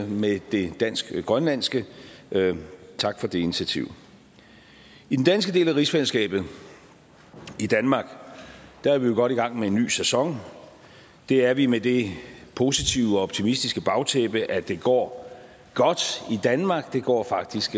med det dansk grønlandske tak for det initiativ i den danske del af rigsfællesskabet i danmark er vi jo godt i gang med en ny sæson det er vi med det positive og optimistiske bagtæppe at det går godt i danmark det går faktisk